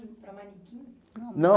Para manequim? Não.